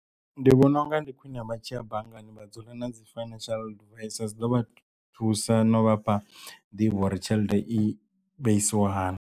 Ndi vhona unga ndi khwine vha tshiya banngani vha dzula na dzi financial advisor dzi ḓo vha thusa no vhafha nḓivho uri tshelede i vheisiwa hani.